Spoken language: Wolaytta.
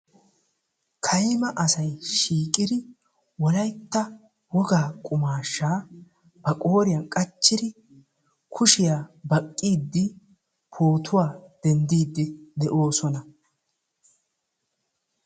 Kayma asay shiiqidi wolaytta wogaa qumaashaa ba qooriyan qachchiri kushiya baqqiiddi, pootuwa denddiiddi de'oosona.